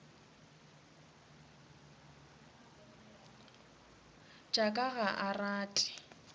tša ka ga a rate